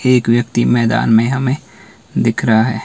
एक व्यक्ति मैदान में हमें दिख रहा--